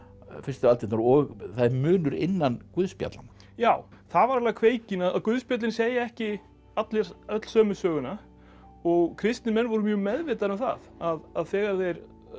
fyrstu aldirnar og það er munur innan guðspjallanna já það var alveg kveikjan að guðspjöllin segja ekki öll sömu söguna og kristnir menn voru mjög meðvitaðir um það að þegar þeir